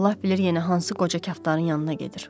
Allah bilir yenə hansı qoca kaftarın yanına gedir.